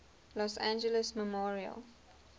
los angeles memorial